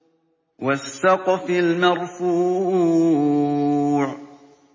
وَالسَّقْفِ الْمَرْفُوعِ